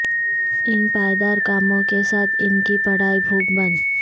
ان پائیدار کاموں کے ساتھ ان کی پڑھائی بھوک بنو